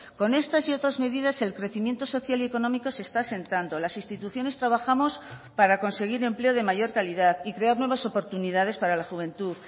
con estas y otras medidas el crecimiento social y económico se está asentando las instituciones trabajamos para conseguir empleo de mayor calidad y crear nuevas oportunidades para la juventud